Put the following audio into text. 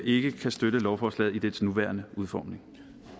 ikke kan støtte lovforslaget i dets nuværende udformning